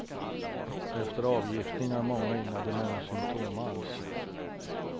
Efter avgiftning har många inga demenssymptom alls.